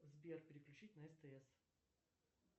сбер переключить на стс